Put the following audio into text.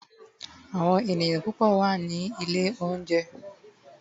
awon eniyan pupo wa Nile ounje